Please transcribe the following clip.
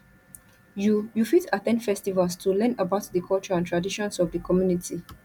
you you fit at ten d festivals to learn about di culture and traditions of di community